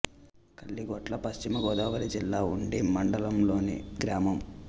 కలిగొట్ల పశ్చిమ గోదావరి జిల్లా ఉండి మండలం లోని గ్రామం